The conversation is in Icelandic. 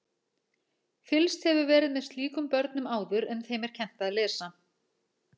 Fylgst hefur verið með slíkum börnum áður en þeim er kennt að lesa.